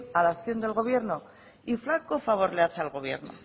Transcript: a la acción del gobierno y flaco favor le hace al gobierno